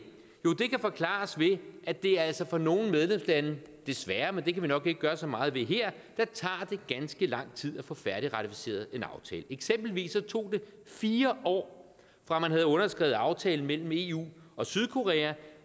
kan forklares ved at det altså for nogle medlemslande desværre men det kan vi nok ikke gøre så meget ved her tager ganske lang tid at få færdigratificeret en aftale eksempelvis tog det fire år fra man havde underskrevet aftalen mellem eu og sydkorea